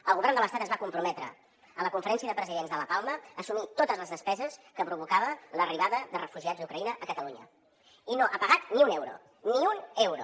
el govern de l’estat es va comprometre a la conferència de presidents de la palma a assumir totes les despeses que provocava l’arribada de refugiats d’ucraïna a catalunya i no ha pagat ni un euro ni un euro